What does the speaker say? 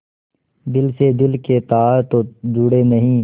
दिल से दिल के तार तो जुड़े नहीं